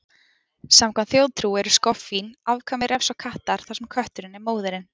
Samkvæmt þjóðtrú eru skoffín afkvæmi refs og kattar, þar sem kötturinn er móðirin.